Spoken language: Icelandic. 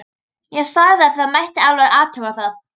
Ég sagði að það mætti alveg athuga það.